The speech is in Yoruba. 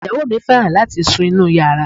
Ìyàwó mi fẹ́ràn láti sun inúu yàrá.